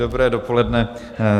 Dobré dopoledne.